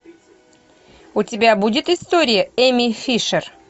у тебя будет история эми фишер